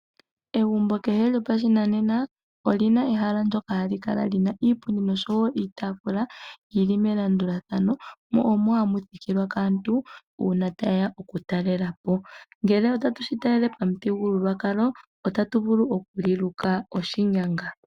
Egumbo kehe lyopashinane oli na ehala lyoka li na iipundi noshowo iitaafula yi li melandulathano mo omohamuthikilwa kaantu uuna taye ya oku talelapo ngele otatu shi tulele pamuthigululwa kalo otatu vulu oku li luka oshinyanga.